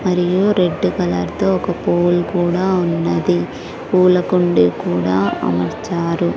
మరియు red colour తో ఒక పోల్ కూడా ఉన్నది పూలకుండి కూడా అమర్చారు.